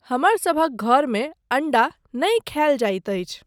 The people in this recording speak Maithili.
हमरसभक घरमे अण्डा नहि खयल जाइत अछि।